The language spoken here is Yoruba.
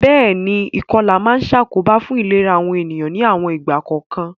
Béèni, ìkolà ma n sàkóbá fun ìlera àwon ènìyàn ni àwon ìgbà kòkan